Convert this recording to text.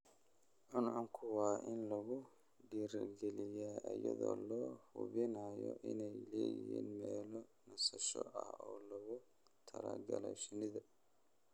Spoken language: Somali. Cuncunku waa in lagu dhiirigeliyaa iyadoo la hubinayo inay leeyihiin meelo nasasho ah oo loogu talagalay shinnida.